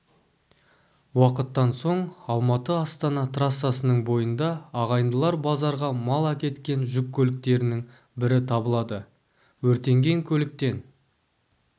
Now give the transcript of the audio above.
уақыттан соң алматы-астана трассасының бойында ағайындылар базарға мал әкеткен жүк көліктерінің бірі табылады өртенген көліктен